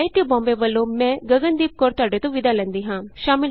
ਅਤੇ ਆਈਆਈਟੀ ਬੋਂਬੇ ਵਲੋਂ ਮੈਂ ਗਗਨ ਦੀਪ ਕੌਰ ਤੁਹਾਡੇ ਤੋਂ ਵਿਦਾ ਲੈਂਦੀ ਹਾਂ